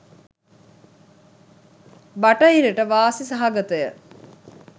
බටහිරට වාසි සහගතය.